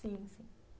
Sim, sim.